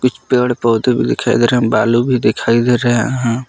पेड़ पौधे भी दिखाई दे रहे हैं बालू भी दिखाई दे रहे हैं।